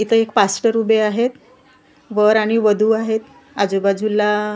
इथं एक पास्टर उभे आहेत वर आणि वधू आहेत आजूबाजूला--